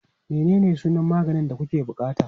Menene sunan maganin da kuke buƙata?